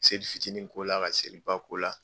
Seli fitinin ko la, ka seliba ko la